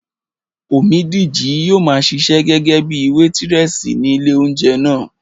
Omídìji yóò maa ṣiṣẹ́ gẹ́gẹ́bíi wétírẹ̀sì ní ilé óúnjẹ náà